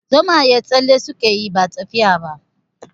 Zomaye tsalle suke yi ba tafiya ba.